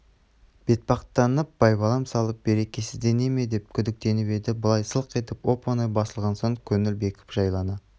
бетпақтанып байбалам салып берекесіздене ме деп күдіктеніп еді бұлай сылқ етіп оп-оңай басылған соң көңіл бекіп жайлана